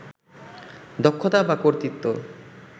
দক্ষতা বা কর্তৃত্ব